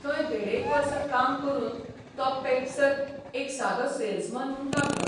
थंय देडेक वर्स काम करून तो पेप्सत एक सादो सेल्समन म्हूण लागलो.